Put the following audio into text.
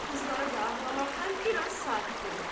Qızları da ağlamaqdan biraz sakit olub.